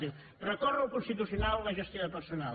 diu recórrer al constitucional la gestió de personal